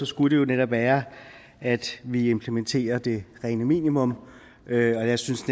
skulle det jo netop være at vi implementerer det rene minimum og jeg synes